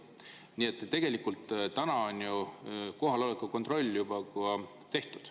Nii et tegelikult on täna kohaloleku kontroll juba tehtud.